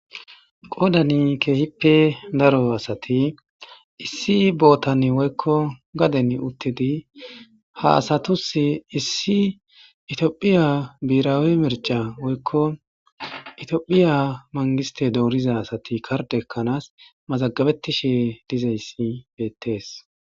qodani kehippe daro asati issi bootan woykko gaden uttidi ha asatusi issi itiophiya biirawe merca woykko itoophiya mangiste dooriza asati karde ekkanaas mazagabettishe dizayssi beettees.